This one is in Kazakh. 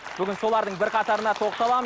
бүгін солардың бірқатарына тоқталамыз